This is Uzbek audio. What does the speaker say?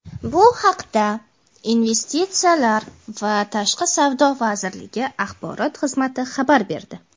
Bu haqda Investitsiyalar va tashqi savdo vazirligi axborot xizmati xabar berdi.